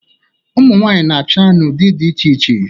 Ụmụnwaanyị na-acha n'ụdị dị iche iche.